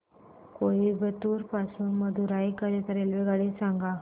कोइंबतूर पासून मदुराई करीता रेल्वेगाडी सांगा